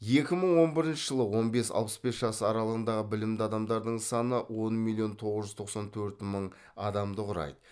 екі мың он бірінші жылы он бес алпыс бес жас аралығындағы білімді адамдардың саны он миллион тоғыз жүз тоқсан төрт мың адамды құрайды